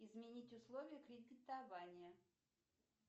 изменить условия кредитования